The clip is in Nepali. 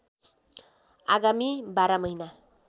आगामी १२ महिना